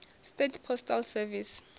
states postal service